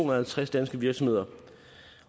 og halvtreds danske virksomheder